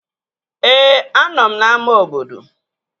Ee, anọ m n'ámá obodo